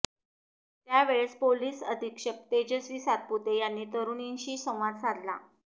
त्या वेळेस पोलीस अधीक्षक तेजस्वी सातपुते यांनी तरुणींशी संवाद साधला